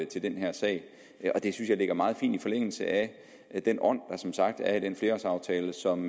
til den her sag og det synes jeg ligger meget fint i forlængelse af den ånd der som sagt er i den flerårsaftale som